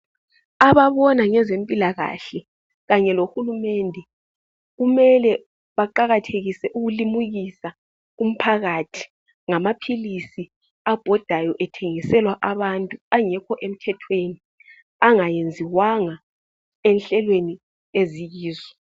Ababona ngezempilakahle kanye lohulumende, kumele baqakathekise ukulimukisa umphakathi ngamaphilisi abhodayo ethengiselwa abantu angekho emthethweni. Angenziwanga enhlelweni eziyizo.